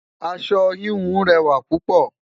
aṣọ híhun rẹwa loopo